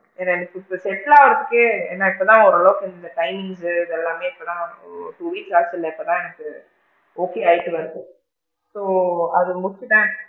வேற எனக்கு இப்போ settle ஆகுரதுக்கே ஏன்னா இப்போ தான் ஓரளவுக்கு இந்த timing கு இது எல்லாமே இப்ப தான் ஒரு two week ஆச்சுல இப்போ தான் எனக்கு okay ஆயிட்டு வருது so அது முடிச்சிட்டு தான்,